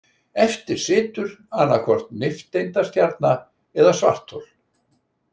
Eftir situr annaðhvort nifteindastjarna eða svarthol.